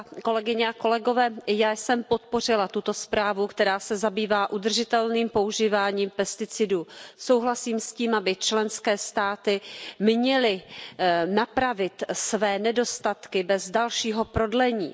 Paní předsedající, já jsem podpořila tuto zprávu, která se zabývá udržitelným používáním pesticidů. Souhlasím s tím, aby členské státy měly napravit své nedostatky bez dalšího prodlení.